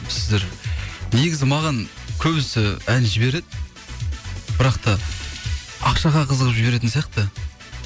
сіздер негізі маған көбісі ән жібереді бірақ та ақшаға қызығып жіберетін сияқты